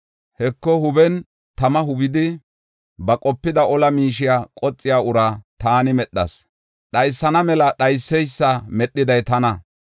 “Heko, huben tama hubidi, ba qopida ola miishiya qoxiya uraa taani medhas; dhaysana mela dhayseysa medhiday tana.